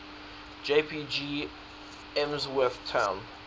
jpg emsworth town